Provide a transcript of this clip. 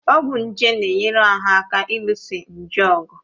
Ọgwụ nje na-enyere ahụ aka ịlụso nje ọgụ